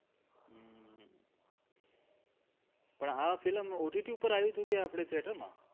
પણ આ film OTT પર આવ્યું તું કે આપડે થીયેટરમાં